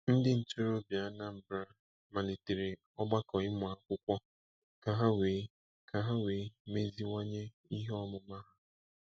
Ndi ntorobia Anambra malitere ogbako ịmụ akwukwo ka ha wee ka ha wee meziwanye ihe omuma ha.